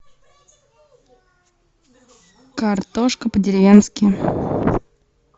картошка по деревенски